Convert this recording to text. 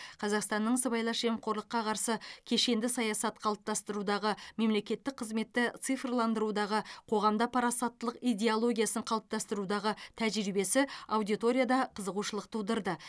қазақстанның сыбайлас жемқорлыққа қарсы кешенді саясат қалыптастырудағы мемлекеттік қызметті цифрландырудағы қоғамда парасаттылық идеологиясын қалыптастырудағы тәжірибесі аудиторияда қызығушылық тудырды